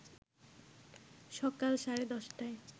সকাল সাড়ে ১০ টায়